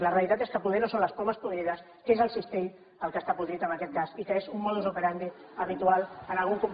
la realitat és que poder no són les pomes podrides que és el cistell el que està podrit en aquest cas i que és un modus operandi habitual en algun comportament